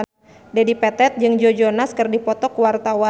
Dedi Petet jeung Joe Jonas keur dipoto ku wartawan